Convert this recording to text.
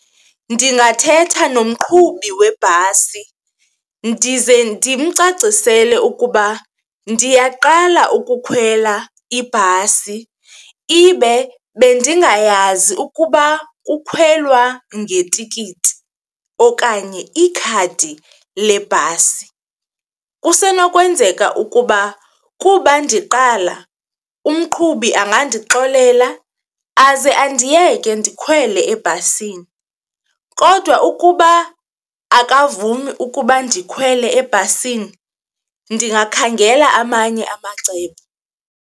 Ndingathetha nomqhubi webhasi ndize ndimcacisele ukuba ndiyaqala ukukhwela ibhasi, ibe bendingayazi ukuba kukhwelwa ngetikiti okanye ikhadi lebhasi. Kusenokwenzeka ukuba kuba ndiqala umqhubi angandixolela aze andiyeke ndikhwele ebhasini kodwa ukuba akavumi ukuba ndikhwele ebhasini, ndingakhangela amanye amacebo.